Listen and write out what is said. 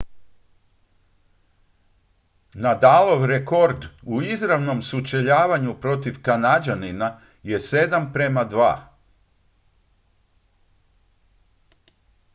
nadalov rekord u izravnom sučeljavanju protiv kanađanina je 7:2